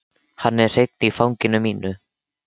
Hann er hreinn í fangi mínu.